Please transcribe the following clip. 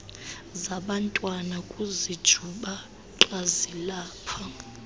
zabantwana kuzinjubaqa zilapha